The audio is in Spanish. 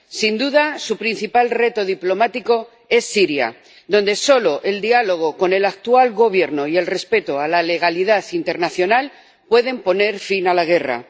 Sin duda, su principal reto diplomático es Siria, donde solo el diálogo con el actual gobierno y el respeto de la legalidad internacional pueden poner fin a la guerra.